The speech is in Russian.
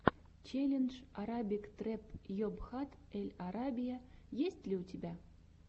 челлендж арабик трэп йобхат эль арабия есть ли у тебя